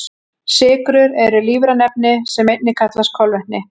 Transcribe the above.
Sykrur eru lífræn efni sem einnig kallast kolvetni.